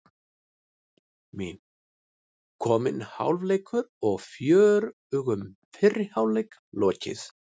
Mín: Kominn hálfleikur og fjörugum fyrri hálfleik lokið.